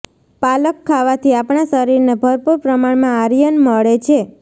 પાલક ખાવાથી આપણા શરીરને ભરપૂર પ્રમાણમાં આર્યન મળે છે